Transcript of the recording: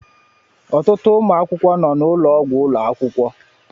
Ọtụtụ ụmụ akwụkwọ nọ n'ụlọọgwụ ụlọ akwụkwọ.